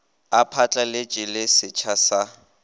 a phatlaletše le setsha sa